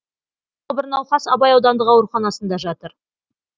тағы бір науқас абай аудандық ауруханасында жатыр